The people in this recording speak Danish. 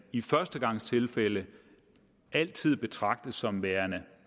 i førstegangstilfælde altid betragtes som værende